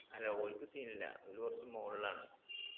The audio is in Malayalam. അല്ല ഓൽക്ക് scene ഇല്ല ഓല് കൊറച്ച് മോൾളാണ്